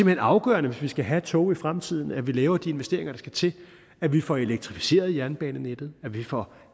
hen afgørende hvis vi skal have tog i fremtiden at vi laver de investeringer der skal til at vi får elektrificeret jernbanenettet at vi får